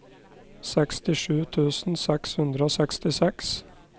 sekstisju tusen seks hundre og sekstiseks